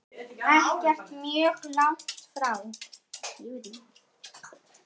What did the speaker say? Ekkert mjög langt frá.